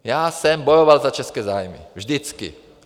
Já jsem bojoval za české zájmy, vždycky.